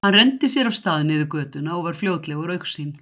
Hann renndi sér af stað niður götuna og var fljótlega úr augsýn.